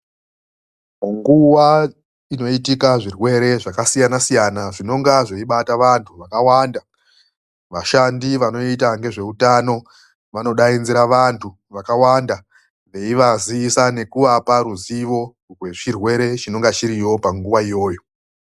MUNGUWA INOITIKA ZVIRWERE ZVAKASIYANA SIYANA ZVINONGA ZVEIBATA VANTU VAKAWANDA. VASHANDI VANOITA NGEZVEUTANO VANODAIDZIRA VANTU VAKAWANDA VEIVAZIVISA NEKUVAPA RUZIVO RWECHIRWERE CHINONGA CHIRIYO PANGUWA IYOYO.